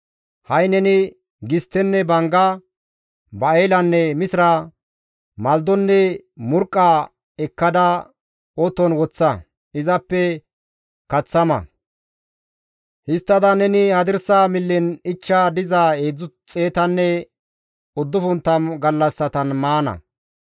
«Ha7i neni gisttenne bangga, ba7elanne misira, malidonne murqqa ekkada oton woththa; izappe kaththa ma; histtada neni hadirsa millen ichcha diza 390 gallassatan maana.